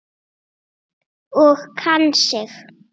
Og kann sig.